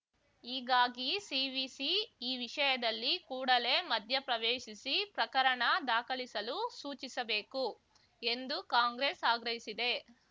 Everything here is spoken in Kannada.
ಹೀಗಾಗಿ ಸಿವಿಸಿ ಈ ವಿಷಯದಲ್ಲಿ ಕೂಡಲೇ ಮಧ್ಯಪ್ರವೇಶಿಸಿ ಪ್ರಕರಣ ದಾಖಲಿಸಲು ಸೂಚಿಸಬೇಕು ಎಂದು ಕಾಂಗ್ರೆಸ್‌ ಆಗ್ರಹಿಸಿದೆ